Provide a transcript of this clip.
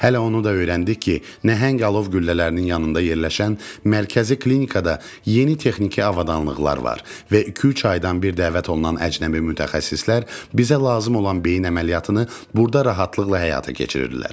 Hələ onu da öyrəndik ki, nəhəng dialov güllələrinin yanında yerləşən mərkəzi klinikada yeni texniki avadanlıqlar var və 2-3 aydan bir dəvət olunan əcnəbi mütəxəssislər bizə lazım olan beyin əməliyyatını burda rahatlıqla həyata keçirirdilər.